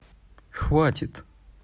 хватит